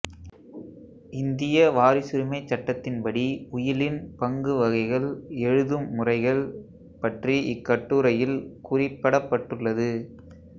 இந்திய வாரிசுரிமைச் சட்டத்தின் படி உயிலின் பங்கு வகைகள் எழுதும் முறைகள் பற்றி இக்கட்டுரையில் குறிப்படப்பட்டுள்ளது